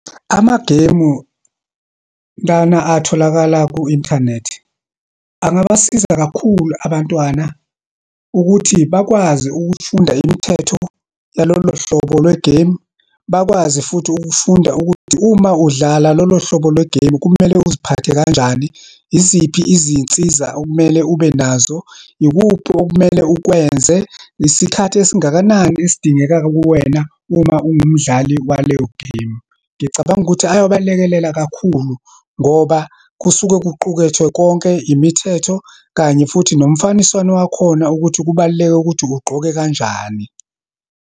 Amagemu, lana atholakala ku-inthanethi, angabasiza kakhulu abantwana ukuthi bakwazi ukufunda imithetho yalolohlobo lwegeyimu. Bakwazi futhi ukufunda ukuthi uma udlala lolohlobo lwegemu, kumele uziphathe kanjani, yiziphi izinsiza okumele ube nazo, yikuphi okumele ukwenze, isikhathi esingakanani esidingeka kuwena uma uwumdlali waleyo gemu. Ngicabanga ukuthi ayobalekelele kakhulu ngoba kusuke kuqukethwe konke, imithetho, kanye futhi nomfaniswano wakhona ukuthi kubaluleke ukuthi ugqoke kanjani.